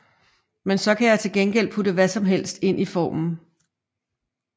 Men så kan jeg til gengæld putte hvad som helst ind i formen